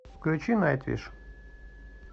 включи найтвиш